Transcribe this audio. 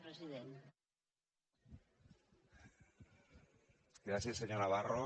gràcies senyor navarro